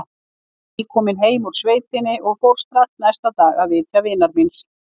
Ég var nýkominn heim úr sveitinni og fór strax næsta dag að vitja vinar míns.